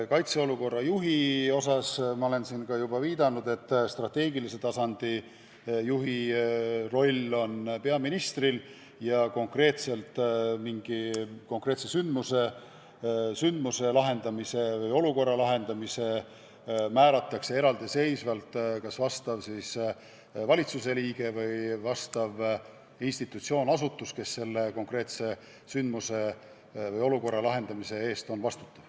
Kaitseolukorra juhi puhul ma olen juba viidanud, et strateegilise tasandi juhi roll on peaministril ja mingi konkreetse sündmuse lahendamiseks, olukorra lahendamiseks määratakse kas mõni valitsuse liige või institutsioon või asutus, kes selle konkreetse sündmuse või olukorra lahendamise eest vastutab.